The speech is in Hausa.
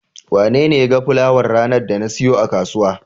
Wanene ya ga fulawar ranar da na siyo a kasuwa?